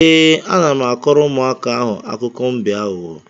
Ee, ana m akọrọ ụmụaka ahụ akụkọ mbe aghụghọ.